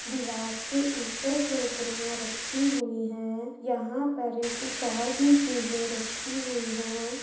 दीवार के ऊपर टोकरियाँ रखी हुईं हैं यहाँ पर कुछ और भी चीज़े रखी हुईं हैं।